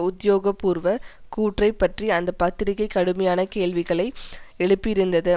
உத்தியோக பூர்வ கூற்றை பற்றி அந்த பத்திரிகை கடுமையான கேள்விகளை எழுப்பியிருந்தது